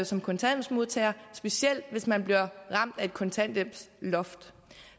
som kontanthjælpsmodtager specielt hvis man bliver ramt af et kontanthjælpsloft